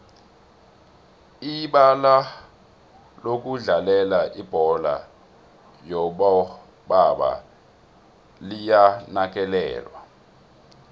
ibalalokudlalela ibholo yobo baba liyanakekelwa